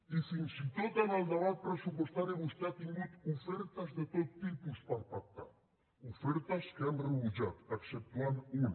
i fins i tot en el debat pressupostari vostè ha tingut ofertes de tot tipus per pactar ofertes que han rebutjat exceptuant ne una